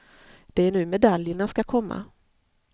Det är nu medaljerna ska komma.